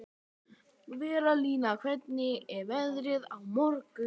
Valería, hvernig verður veðrið á morgun?